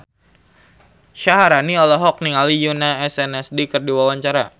Syaharani olohok ningali Yoona SNSD keur diwawancara